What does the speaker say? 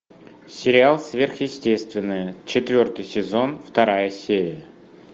сериал сверхъестественное четвертый сезон вторая серия